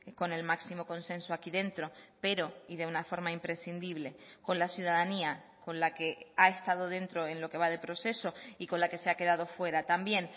con el máximo consenso aquí dentro pero y de una forma imprescindible con la ciudadanía con la que ha estado dentro en lo que va de proceso y con la que se ha quedado fuera también